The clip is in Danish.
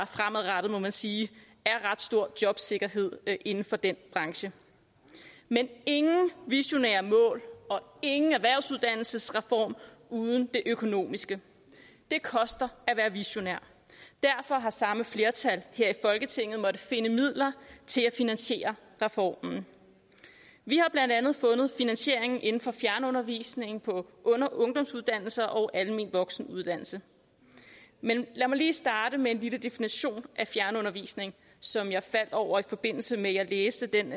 fremadrettet må man sige er ret stor jobsikkerhed inden for den branche men ingen visionære mål og ingen erhvervsuddannelsesreform uden det økonomiske det koster at være visionær derfor har samme flertal her i folketinget måttet finde midler til at finansiere reformen vi har blandt andet fundet finansieringen inden for fjernundervisning på ungdomsuddannelser og almen voksenuddannelse men lad mig lige starte med en lille definition af fjernundervisning som jeg faldt over i forbindelse med at jeg læste den